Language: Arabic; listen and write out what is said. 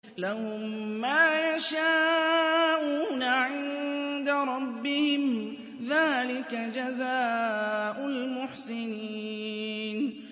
لَهُم مَّا يَشَاءُونَ عِندَ رَبِّهِمْ ۚ ذَٰلِكَ جَزَاءُ الْمُحْسِنِينَ